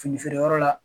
Fini feere yɔrɔ la